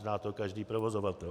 Zná to každý provozovatel.